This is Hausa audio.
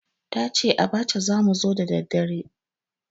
Ta ce abacha za mu ci da daddare.